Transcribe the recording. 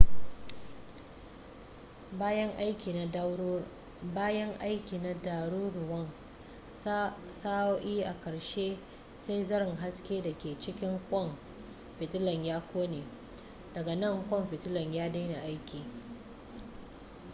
bayan aiki na ɗaruruwan sa'o'i a ƙarshe sai zaren haske da ke cikin ƙwan fitilar ya ƙone daga nan ƙwan fitilar ya daina aiki